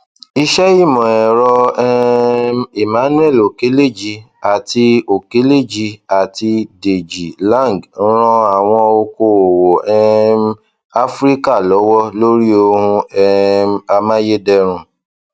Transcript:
iṣẹ ìmọ ẹrọ um emmanuel okeleji àti okeleji àti deji lang ran àwọn okoòwò um áfríkà lọwọ lórí ohun um amáyédẹrùn